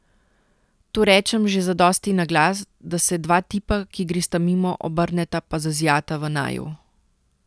To rečem že zadosti na glas, da se dva tipa, ki gresta mimo, obrneta pa zazijata v naju.